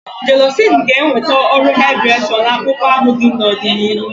Jélọ̀cị́n ga-enweta uru haịdị́réshọ̀n akpụkpọ ahụ n'ọdịnihu